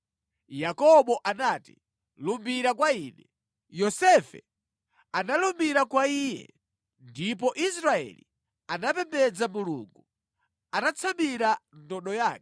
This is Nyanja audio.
Yakobo anati, “Lumbira kwa ine.” Yosefe analumbira kwa iye, ndipo Israeli anapembedza Mulungu atatsamira ndodo yake.